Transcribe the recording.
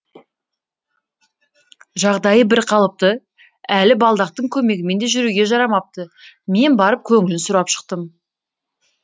жағдайы бірқалыпты әлі балдақтың көмегімен де жүруге жарамапты мен барып көңілін сұрап шықтым